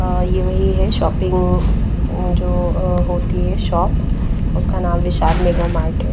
अ यह वहीं है शॉपिंग अ जो अ होती है शॉप उसका नाम विशाल मेगा माउंट --